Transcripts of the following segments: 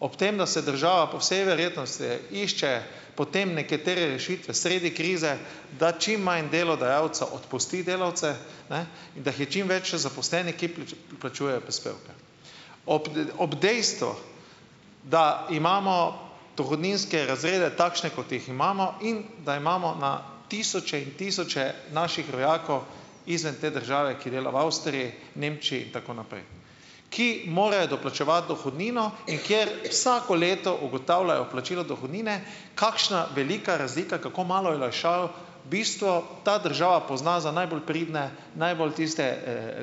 ob tem da se država po vsej verjetnosti išče potem nekatere rešitve sredi krize, da čim manj delodajalcev odpusti delavce, ne, in da je čim več zaposlenih, ki plačujejo prispevke. Ob ob dejstvu, da imamo dohodninske razrede takšne, kot jih imamo, in da imamo na tisoče in tisoče naših rojakov izven te države, ki dela v Avstriji, Nemčiji in tako naprej, ki morajo doplačevati dohodnino, in kjer vsako leto ugotavljajo plačilo dohodnine kakšna velika razlika, kako malo olajšav bistvo ta država pozna za najbolj pridne, najbolj tiste,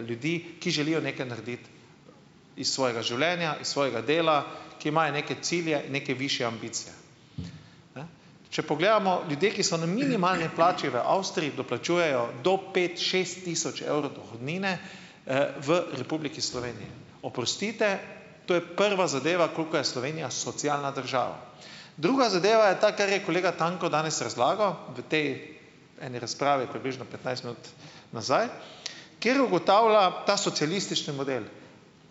ljudi, ki želijo nekaj narediti iz svojega življenja, iz svojega dela, ki imajo neke cilje, neke višje ambicije. Če pogledamo, ljudje, ki so na minimalni plači v Avstriji, doplačujejo do pet, šest tisoč evrov dohodnine, v Republiki Sloveniji, oprostite, to je prva zadeva, koliko je Slovenija socialna država. Druga zadeva je ta, kar je kolega Tanko danes razlagal v tej eni razpravi približno petnajst minut nazaj, kjer ugotavlja ta socialistični model,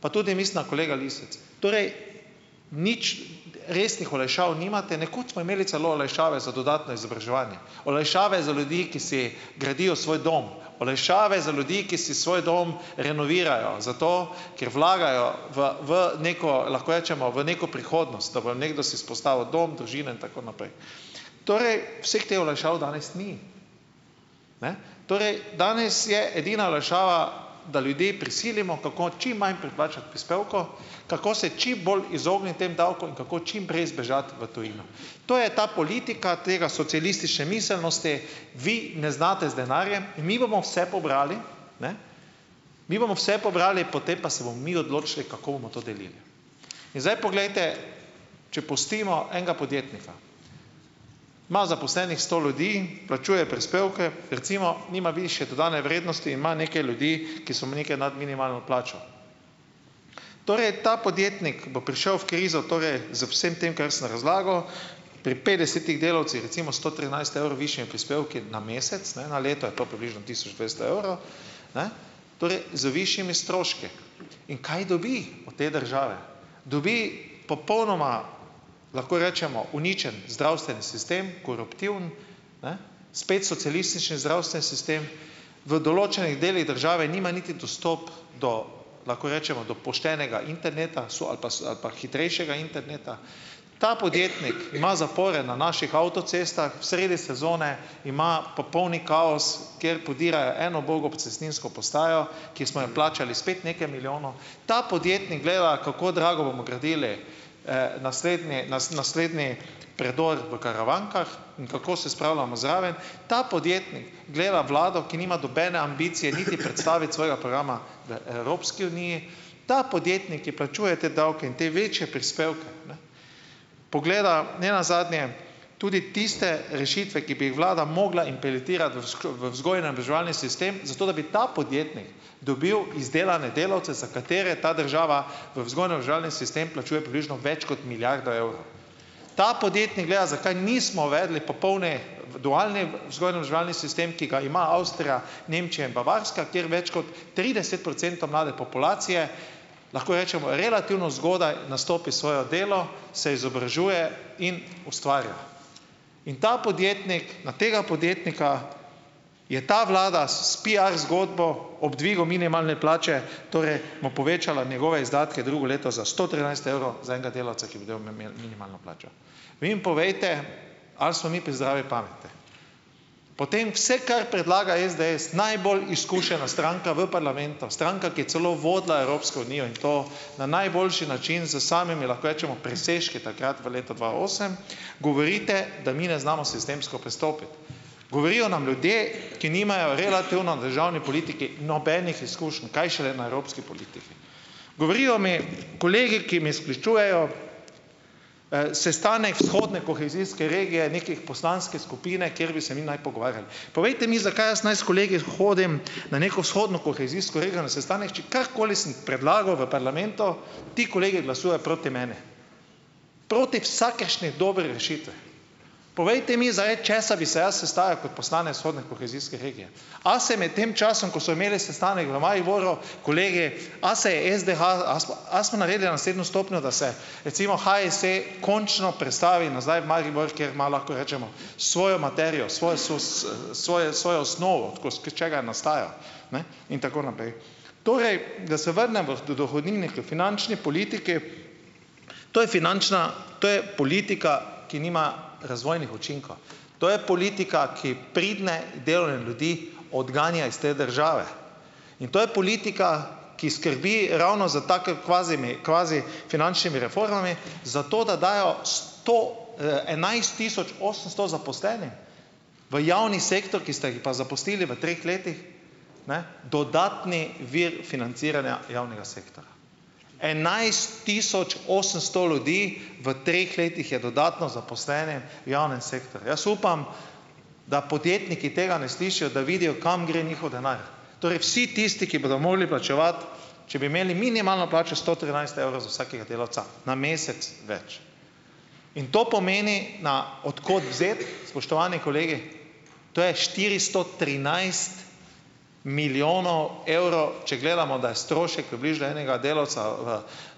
pa tudi mislim, da kolega Lisec, torej nič resnih olajšav nimate, nekoč smo imeli celo olajšave za dodatno izobraževanje, olajšave za ljudi, ki si gradijo svoj dom, olajšave za ljudi, ki si svoj dom renovirajo, zato, ker vlagajo v v neko, lahko rečemo, v neko prihodnost, da bo nekdo si vzpostavil dom, družino in tako naprej. Torej, vseh teh olajšav danes ni. Torej, danes je edina olajšava, da ljudi prisilimo, kako čim manj preplačati prispevkov, kako se čim bolj izogniti tem davkom, kako čim prej zbežati v tujino. To je ta politika tega socialistične miselnosti, vi ne znate z denarjem, mi bomo vse pobrali, mi bomo vse pobrali, potem pa se bomo mi odločili, kako bomo to delili. In zdaj poglejte, če pustimo enega podjetnika, ima zaposlenih sto ljudi, plačuje prispevke recimo nima višje dodane vrednosti, ima neke ljudi, ki so nekaj nad minimalno plačo. Torej ta podjetnik bo prišel v krizo, torej, z vsem tem, kar sem razlagal, pri petdesetih delavcih recimo sto trinajst evrov višjimi prispevki na mesec, ne, na leto je to približno tisoč dvesto evrov, torej z višjimi stroški. In kaj dobi od te države? Dobi popolnoma, lahko rečemo, uničen zdravstveni sistem, koruptiven, spet socialistični zdravstveni sistem, v določenih delih države nima niti dostopa do, lahko rečemo, do poštenega interneta ali pa hitrejšega interneta. Ta podjetnik ima zapore na naših avtocestah, sredi sezone ima popolni kaos, kjer podirajo eno ubogo cestninsko postajo, ki smo jo plačali spet nekaj milijonov, ta podjetni gleda, kako drago bomo gradili, naslednji naslednji predor v Karavankah in kako se spravljamo zraven, ta podjetnik gleda vlado, ki nima nobene ambicije niti predstaviti svojega programa v Evropski uniji, ta podjetnik, ki plačuje te davke in te večje prispevke pogleda nenazadnje tudi tiste rešitve, ki bi jih vlada mogla implementirati v vzgojno-izobraževalni sistem, zato da bi ta podjetnik dobil izdelane delavce, za katere ta država v vzgojno-izobraževalni sistem plačuje približno več kot milijardo evrov. Ta podjetnik gleda, zakaj nismo uvedli popolni individualni vzgojno-izobraževalni sistem, ki ga ima Avstrija, Nemčija in Bavarska, kjer več kot trideset procentov mlade populacije, lahko rečemo, relativno zgodaj nastopi svoje delo, se izobražuje in ustvarja. In ta podjetnik, na tega podjetnika je ta vlada s PR zgodbo ob dvigu minimalne plače torej mu povečala njegove izdatke drugo leto za sto trinajst evrov za enega delavca, minimalno plačo. Vi mi povejte, ali smo mi pri zdravi pameti. Potem vse, kar predlaga SDS, najbolj izkušena stranka v parlamentu, stranka, ki je celo vodila Evropsko unijo in to na najboljši način s samimi, lahko rečemo, presežki takrat v letu dva osem, govorite, da mi ne znamo sistemsko pristopiti. Govorijo nam ljudje, ki nimajo relativno državni politiki nobenih izkušenj, kaj šele na evropski politiki. Govorijo mi kolegi, ki me sklicujejo, sestanek vzhodne kohezijske regije nekih poslanske skupine, kjer bi se mi naj pogovarjali. Povejte mi, zakaj jaz naj s kolegi hodim na neko vzhodno kohezijsko regijo na sestanek, če karkoli sem predlagal v parlamentu, ti kolegi glasujejo proti meni, proti vsakršni dobri rešitvi. Povejte mi zdaj, česa bi se jaz sestajal kot poslanec vzhodne kohezijske regije. A se med tem časom, ko so imeli sestanek v Mariboru kolegi, a se je SDH, a a smo naredili naslednjo stopnjo, da se da se recimo HSE končno prestavi nazaj v Maribor, kjer ima, lahko rečemo, svojo materijo, svojo svoje svojo osnovo, tako s česa nastaja, ne, in tako naprej. Torej, da se vrnem v dohodnini, k finančni politiki, to je finančna, to je politika, ki nima razvojnih učinkov, to je politika, ki pridne, delovne ljudi odganja iz te države, in to je politika, ki skrbi ravno s kavizimi kvazi finančnimi reformami, zato da dajo sto, enajst tisoč osemsto zaposlenim v javni sektor, ki ste jih pa zaposlili v treh letih, dodatni vir financiranja javnega sektorja, enajst tisoč osemsto ljudi v treh letih je dodatno zaposleni v javnem sektorju. Jaz upam, da podjetniki tega ne slišijo, da vidijo, kam gre njihov denar, torej vsi tisti, ki bodo mogli plačevati, če bi imeli minimalno plačo, sto trinajst evrov za vsakega delavca na mesec več. In to pomeni na, od kod vzeti, spoštovani kolegi, to je štiristo trinajst milijonov evrov, če gledamo, da je strošek približno enega delavca,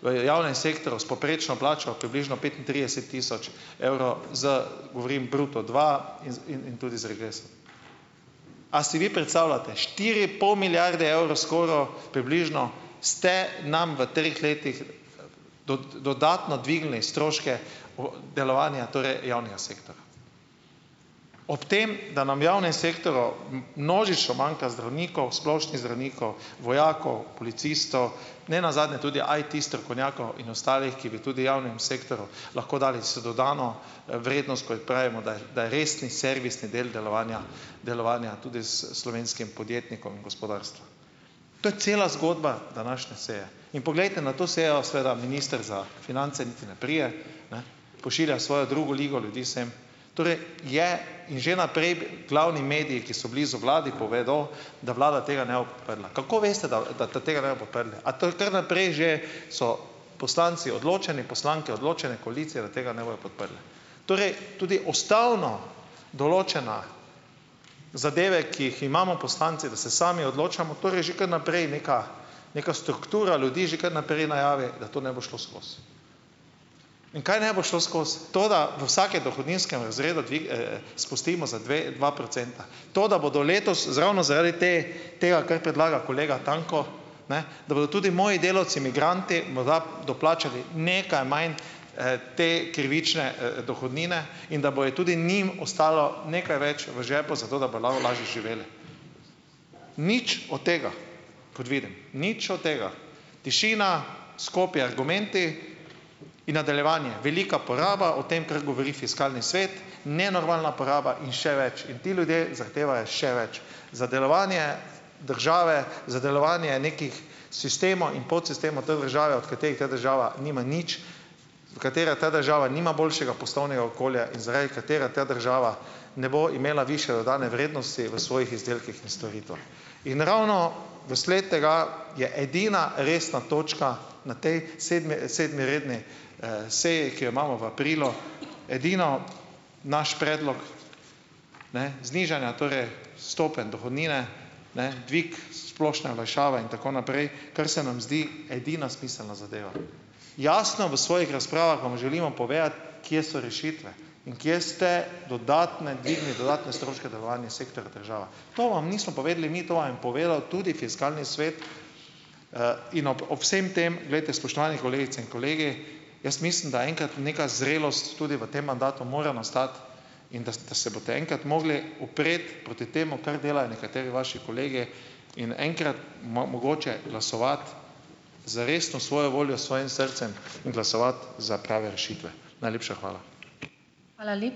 v javnem sektorju s povprečno plačo približno petintrideset tisoč evrov, z govorim bruto dva in in tudi z regresom. A si vi predstavljate? Štiri pol milijarde evrov skoraj približno ste nam v treh letih dodatno dvignili stroške delovanja torej javnega sektorja, ob tem da nam javnem sektorju množično manjka zdravnikov, splošnih zdravnikov, vojakov, policistov, ne nazadnje tudi IT-strokovnjakov in ostalih, ki bi tudi javnemu sektorju lahko dali dodano vrednost, takoj pravimo, da da je resni servisni del delovanja delovanja tudi slovenskim podjetnikom in gospodarstvu. To je cela zgodba današnje seje. In poglejte, na to sejo seveda minister za finance niti ne pride, pošilja svojo drugo ligo ljudi sem. Torej je in že naprej glavni mediji, ki so blizu vladi, povedo, da Vlada tega ne bo podprla. Kako veste, da da tega ne bodo podprli? A to je kar naprej že so poslanci odločeni, poslanke odločene, koalicija, da tega ne bojo podprli? Torej tudi ustavno določene zadeve, ki jih imamo poslanci, da se sami odločamo, torej že kar naprej nekaj neka struktura ljudi že kar naprej najavi, da to ne bo šlo skozi. In kaj ne bo šlo skozi? To, da v vsakem dohodninskem razredu spustimo za dve dva procenta? To, da bodo letos z ravno zaradi te, tega, kar predlaga kolega Tanko, ne, da bodo tudi moji delavci migranti morda doplačali nekaj manj, te krivične, dohodnine in da bo tudi njim ostalo nekaj več v žepu, zato da lažje živeli. Nič od tega, kot vidim, nič od tega. Tišina, skopi argumenti in nadaljevanje, velika poraba, o tem, kar govori fiskalni svet, nenormalna poraba in še več. In ti ljudje zahtevajo še več za delovanje države, za delovanje nekih sistemov in podsistemov te države, od katerih ta država nima nič, od katerih ta država nima boljšega poslovnega okolja in zaradi katerih ta država ne bo imela višje dodane vrednosti v svojih izdelkih in storitvah. In ravno vsled tega je edina resna točka na tej sedmi, sedmi redni, seji, ki jo imamo v aprilu, edino naš predlog, ne, znižanja torej stopenj dohodnine, ne, dvig splošne olajšave in tako naprej, kar se nam zdi edina smiselna zadeva. Jasno v svojih razpravah vam želimo povedati, kje so rešitve in kje ste dodatno dvignili dodatne stroške delovanja sektorja država. To vam nismo povedali mi, to vam je povedal tudi fiskalni svet. In ob ob vsem tem, glejte, spoštovane kolegice in kolegi, jaz mislim, da enkrat neka zrelost tudi v tem mandatu more nastati in da se boste enkrat mogli upreti proti temu, kar delajo nekateri vaši kolegi, in enkrat mogoče glasovati z resno svojo voljo, s svojim srcem in glasovati za prave rešitve. Najlepša hvala.